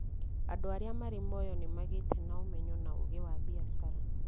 Andũ arĩa marĩ Moyo nĩmagĩte na ũmenyo na ũũgĩ wa biacara